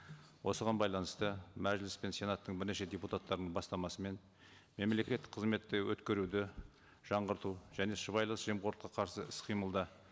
осыған байланысты мәжіліс пен сенаттың бірнеше депутаттарының бастамасымен мемлекеттік қызметті өткеруді жаңғырту және сыбайлас жемқорлыққа қарсы іс қимылда